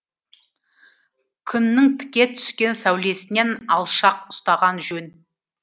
күннің тіке түскен сәулесінен алшақ ұстаған жөн